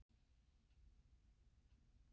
Og ekki háir, heldur djúpir.